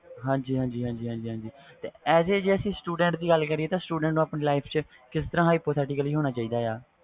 ਹਾਜੀ ਹਾਜੀ ਜੇ ਅਸੀਂ as a student ਦੀ ਗੱਲ ਕਰੀਏ student ਨੂੰਆਪਣੀ life ਚ ਕਿਸ ਤਰਾਂ hypothetical ਹੋਂਣਾ ਚਾਹੀਦਾ ਵ